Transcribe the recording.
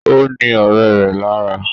Ó ní ọ̀rẹ́ rẹ̀ lára